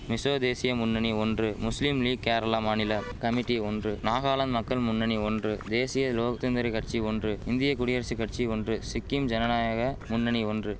மிசோ தேசிய முன்னணி ஒன்று முஸ்லிம் லீக் கேரளா மாநில கமிட்டி ஒன்று நாகாலாந்து மக்கள் முன்னணி ஒன்று தேசிய லோக் தந்திரி கட்சி ஒன்று இந்திய குடியரசு கட்சி ஒன்று சிக்கிம் ஜனநாயக முன்னணி ஒன்று